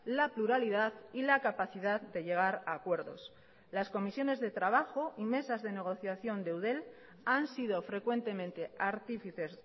la pluralidad y la capacidad de llegar a acuerdos las comisiones de trabajo y mesas de negociación de eudel han sido frecuentemente artífices